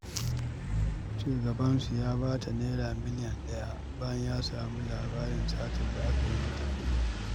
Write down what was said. Shugabansu ya ba ta Naira miliyan ɗaya, bayan ya samu labarin satar da aka yi mata.